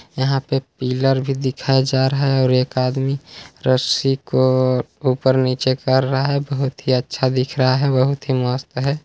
यहाँ पे पिलर भी दिखाया जा रहा है और एक आदमी रस्सी को ऊपर- नीचे कर रहा है बहुत ही अच्छा दिख रहा है बहुत ही मस्त है।